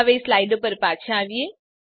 હવે સ્લાઈડો પર પાછા આવીએ